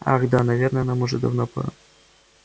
ах да наверное нам уже давно пора